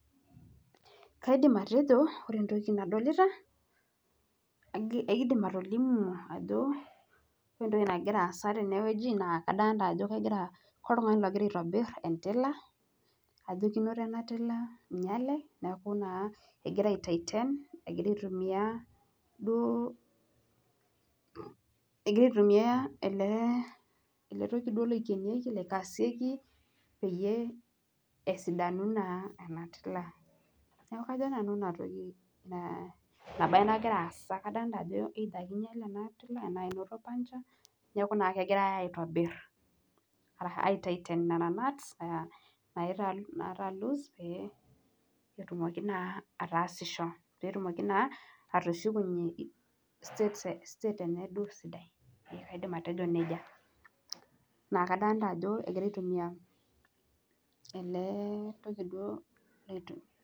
Kaidim atejo kore entoki nadolita, kaidim atolimu ajo kore entoki nagira aasa tene wueji naa kadalita ajo koltunga'ani ogira aitobir entila, ajo keinoto ena tila einyale, neaku naa egira aitaiten, egira aitumia duo ilo toki oikenieki, leikasieki peyie esidanu naa ena tila. Neaku ajo nanu ina toki nagira aasa, kadolita ajo either keinyale ena tila anaa keinoto puncture neaku naa keigirai aitobir, aitaiten nena nuts nataa loose pee etumoki naa ataasisho, petumoki naa pee etiaki naa atushukunye state enyee naa duo sidai. Kaidim atejo neija. Kadolita ajo egirai aitumiya ele toki tuo leitu.